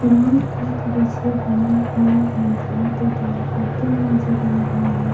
Ground का दृश्य बना हुआ है जहां पे बड़ा सा पोल नजर आ रहा है।